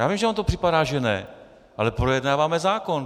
Já vím, že vám to připadá že ne, ale projednáváme zákon.